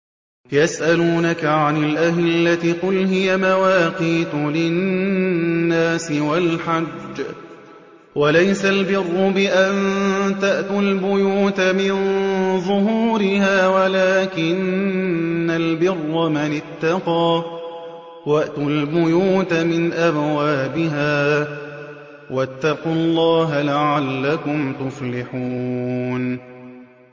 ۞ يَسْأَلُونَكَ عَنِ الْأَهِلَّةِ ۖ قُلْ هِيَ مَوَاقِيتُ لِلنَّاسِ وَالْحَجِّ ۗ وَلَيْسَ الْبِرُّ بِأَن تَأْتُوا الْبُيُوتَ مِن ظُهُورِهَا وَلَٰكِنَّ الْبِرَّ مَنِ اتَّقَىٰ ۗ وَأْتُوا الْبُيُوتَ مِنْ أَبْوَابِهَا ۚ وَاتَّقُوا اللَّهَ لَعَلَّكُمْ تُفْلِحُونَ